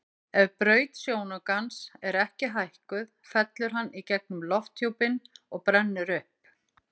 Ef braut sjónaukans er ekki hækkuð fellur hann í gegnum lofthjúpinn og brennur upp.